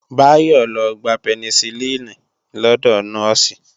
Báyọ́ lọ gba Penicilin lọ́dọ̀ Nọ́ọ̀sì